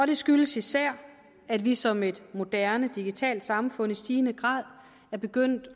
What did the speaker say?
det skyldes især at vi som et moderne digitalt samfund i stigende grad er begyndt